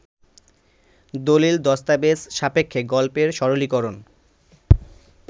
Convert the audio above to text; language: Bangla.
দলিল-দস্তাবেজ সাপেক্ষে গল্পের সরলীকরণ